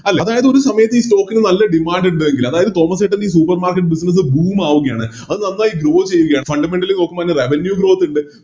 അല്ല അതായത് ഒരു സമയത്ത് ഈ Stock നല്ല Demand ഇണ്ട് എങ്കില് അതായത് തോമസ്സേട്ടൻറെ ഈ Supermarket business boom ആകുകയാണ് അത് നന്നായി Grow ചെയ്യുകയാണ് Fundamentally നോക്കുമ്പോ അതിന് Revenue growth ഇണ്ട്